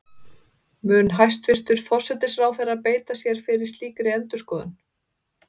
Mun hæstvirtur forsætisráðherra beita sér fyrir slíkri endurskoðun?